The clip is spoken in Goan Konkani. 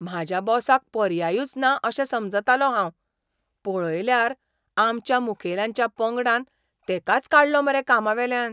म्हाज्या बॉसाक पर्यायूच ना अशें समजतालों हांव, पळयल्यार आमच्या मुखेल्यांच्या पंगडान तेकाच काडलो मरे कामावेल्यान.